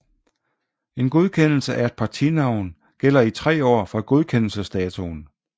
En godkendelse af et partinavn gælder i 3 år fra godkendelsesdatoen